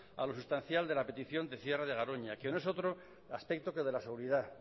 a lo sustancial de la petición del cierre de garoña que no es otro aspecto que de la seguridad